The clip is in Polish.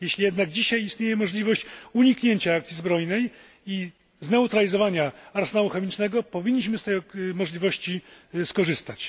Jeśli jednak istnieje dzisiaj możliwość uniknięcia akcji zbrojnej i zneutralizowania arsenału chemicznego, powinniśmy z tej możliwości skorzystać.